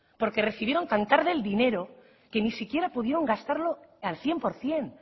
porque recibieron tan tarde el dinero que ni siquiera pudieron gastarlo al cien por ciento